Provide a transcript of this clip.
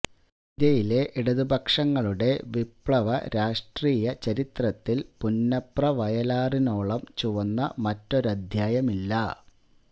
ഇന്ത്യയിലെ ഇടതുപക്ഷങ്ങളുടെ വിപ്ലവ രാഷ്ട്രീയ ചരിത്രത്തില് പുന്നപ്ര വയലാറിനോളം ചുവന്ന മറ്റൊരധ്യായമില്ല